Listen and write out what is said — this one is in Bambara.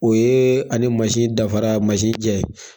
O yee ani masi dafara masi ja ye.